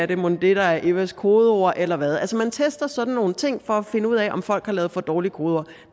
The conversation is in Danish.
det mon er det der er evas kodeord eller hvad altså man tester sådan nogle ting for at finde ud af om folk har lavet for dårlige kodeord